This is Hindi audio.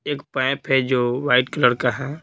एक पाइप है जो वाइट कलर का है।